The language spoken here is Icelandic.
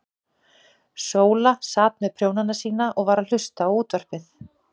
Sóla sat með prjónana sína og var að hlusta á útvarpið.